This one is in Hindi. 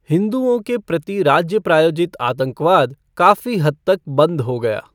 हिंदुओं के प्रति राज्य प्रायोजित आतंकवाद काफी हद तक बंद हो गया।